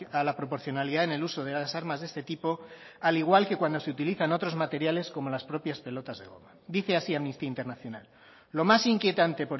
a la proporcionalidad en el uso de las armas de este tipo al igual que cuando se utilizan otros materiales como las propias pelotas de goma dice así amnistía internacional lo más inquietante